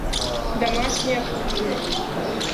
домашняя кухня